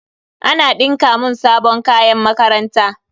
Ana dinka mun sabon kayan makaranta.